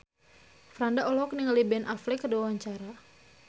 Franda olohok ningali Ben Affleck keur diwawancara